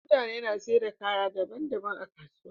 mutane na saida kaya daban daban a kasuwa